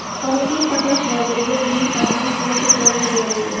Sog‘liqni saqlash vaziriga bizni xatimiz bo‘yicha jazo berilgan.